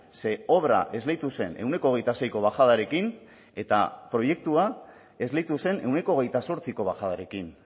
ze obra esleitu zen ehuneko hogeita seiko bajadarekin eta proiektua esleitu zen ehuneko hogeita zortziko bajadarekin